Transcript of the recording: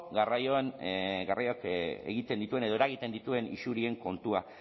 garraioak egiten dituen edo eragiten dituen isurien kontua